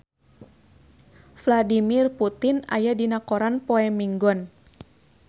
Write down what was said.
Vladimir Putin aya dina koran poe Minggon